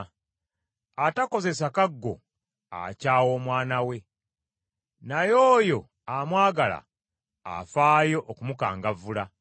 Atakozesa kaggo akyawa omwana we, naye oyo amwagala afaayo okumukangavvula.